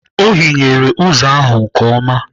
Ọ hinyere ụzọ ahụ nke ọma.